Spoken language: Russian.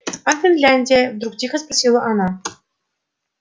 а финляндия вдруг тихо спросила она